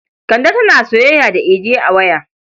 Kande tana soyayya da Idi a waya.